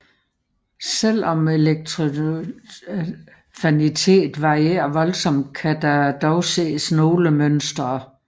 Selvom elektronaffinitet varierer voldsomt kan der dog ses nogle mønstre